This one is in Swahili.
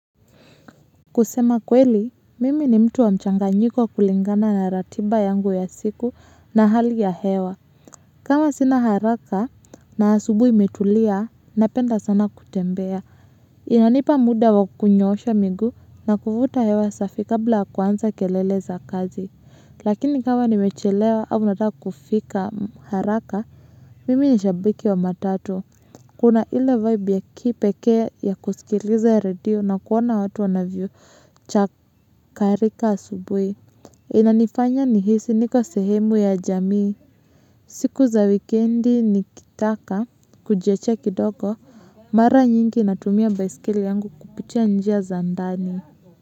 Kusema kweli, mimi ni mtu wa mchanganyiko kulingana na ratiba yangu ya siku na hali ya hewa. Kama sina haraka na subuhi imetulia, napenda sana kutembea. Inanipa muda wa kunyosha migu na kufuta hewa safi kabla kuanza kelele za kazi. Lakini kama nimechelewa au nataka kufika haraka, mimi ni shabiki wa matatu. Kuna ile vibe ya kipekea ya kusikiliza radio na kuona watu wanavyo chakarika asubui. Inanifanya ni hisi niko sehemu ya jamii. Siku za wikendi nikitaka kujiachia kidogo mara nyingi natumia baisikeli yangu kupitia njia za ndani.